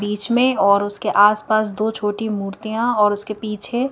बीच में और उसके आसपास दो छोटी मूर्तियां और उसके पीछे--